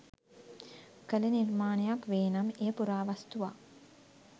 කළ නිර්මාණයක් වේ නම් එය පුරාවස්තුවක්.